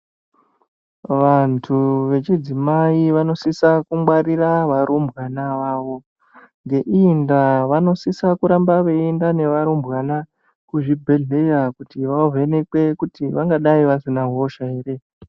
Vandu vechidzimai vanosisa kungwarira varumbwana vavo ngeii nda vanosisa kuramba veienda nevarumbwana kuzvibhehleya kuti vavhenekwe kuti vangadai vasina hosha ere.